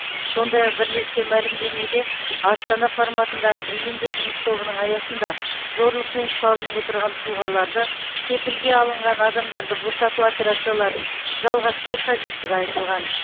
сондай ақ бірлескен мәлімдемеде астана форматындағы бейінді жұмыс тобының аясында зорлықпен ұсталынып отырған тұлғаларды кепілге алынған адамдарды босату операцияларын жалғастыру қажеттігі айтылған